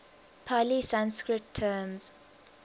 pali sanskrit term